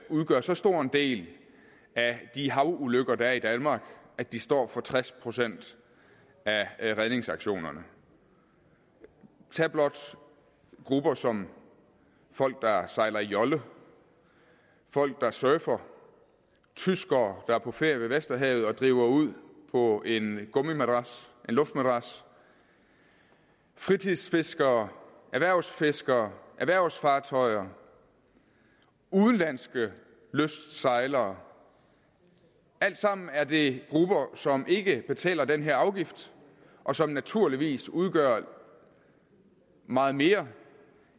udgør så stor en del af de havulykker der er i danmark at de står for tres procent af redningsaktionerne tag blot grupper som folk der sejler i jolle folk der surfer tyskere der er på ferie ved vesterhavet og driver ud på en luftmadras fritidsfiskere erhvervsfiskere erhvervsfartøjer udenlandske lystsejlere alle sammen er det grupper som ikke betaler den her afgift og som naturligvis udgør meget mere